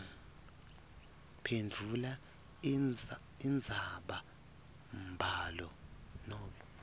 phendvula indzabambhalo nobe